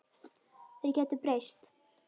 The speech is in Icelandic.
Þær gætu breyst.